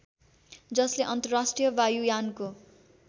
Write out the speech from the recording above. जसले अन्तर्राष्ट्रिय वायुयानको